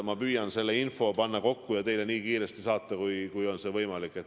Ma püüan selle info kokku panna ja teile nii kiiresti saata, kui on võimalik.